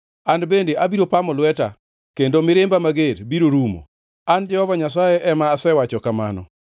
An bende abiro pamo lweta, kendo mirimba mager biro rumo. An Jehova Nyasaye ema asewacho kamano.”